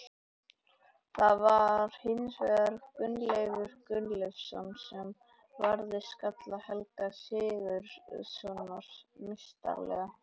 Það var hins vegar Gunnleifur Gunnleifsson sem varði skalla Helga Sigurðssonar meistaralega.